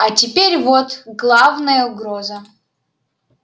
а теперь вот главная угроза